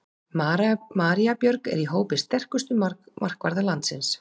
María Björg er í hópi sterkustu markvarða landsins.